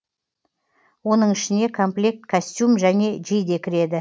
оның ішіне комплект костюм және жейде кіреді